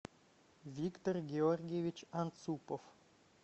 виктор георгиевич анцупов